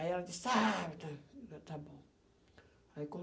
Aí ela disse, está bom. Aí quando